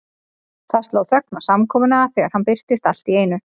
Það sló þögn á samkomuna þegar hann birtist allt í einu.